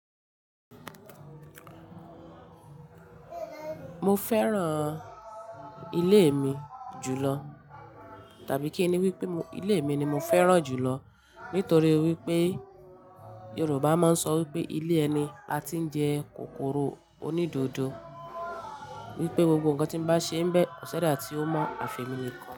Mo fẹ́ràn ilé mi jùlọ tàbí kí ni wípé ilé mi ni mo fẹ́ràn jùlọ nítorí wípé Yorùbá máa ń sọ wípé ilé ẹni a ti ń jẹ kòkòrò onídodo. Wípé gbogbo ǹkan tí ń bá ṣe ń bẹ, kosi eda tí ó mọ àfẹ̀mìnì kan.